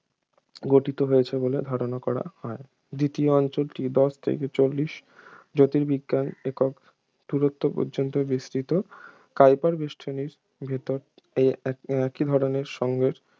গঠিত হয়েছে বলে ধারণা করা হয় দ্বিতীয় অঞ্চলটি দশ থেকে চল্লিশ জ্যোতির্বিজ্ঞান একক দূরত্ব পর্যন্ত বিস্তৃত কাইপার বেষ্টনীর ভিতর এই এক একই ধরনের সংঘের